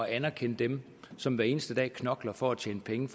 anerkende dem som hver eneste dag knokler for at tjene penge